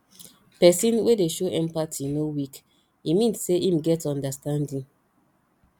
pesin wey dey show empathy no weak e mean sey em get understanding